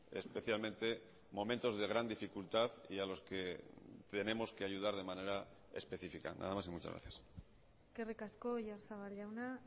especialmente momentos de gran dificultad y a los que tenemos que ayudar de manera específica nada más y muchas gracias eskerrik asko oyarzabal jauna